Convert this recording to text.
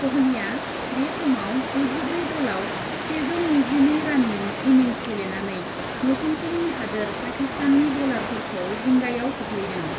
क'हलीआ बे समाव गुजिब्रै बलआव सेजौ नैजिनै राननि इनिंस गेलेनानै नसुंसेनि हादोर पाकिस्ताननि बलारफोरखौ जिंगायाव खोख्लैदों।